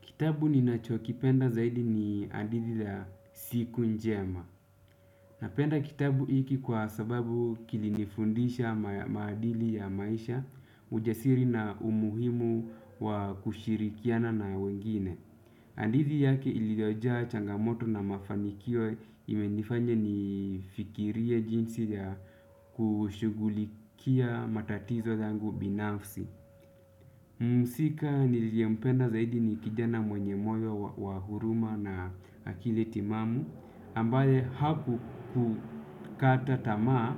Kitabu ninachokipenda zaidi ni hadithi ya siku njema. Napenda kitabu hiki kwa sababu kilinifundisha maadili ya maisha, ujasiri na umuhimu wa kushirikiana na wengine. Hadithi yake iliyojaa changamoto na mafanikio imenifanya nifikirie jinsi ya kushughulikia matatizo zangu binafsi. Muhusika niliyempenda zaidi ni kijana mwenye moyo wa huruma na akili timamu ambaye hakukata tamaa